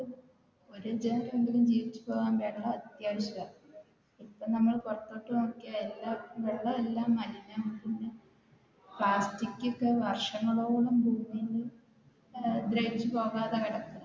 ജീവിച്ചു പോകാൻ വെള്ളം അത്യാവശ്യമാണ് ഇപ്പൊ നമ്മൾ പുറത്തോട്ട് നോക്കിയാൽ വെള്ളം എല്ലാം മലിനമാണ് പ്ലാസ്റ്റിക്കൊക്കെ വർഷങ്ങളോളം ദ്രവിച്ചു പോകാതെ കിടക്കും